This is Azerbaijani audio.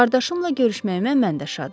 Qardaşımla görüşməyimə mən də şadam.